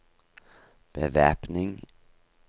bevæpning